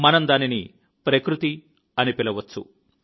మనం దానిని ప్రకృతి అని పిలవవచ్చు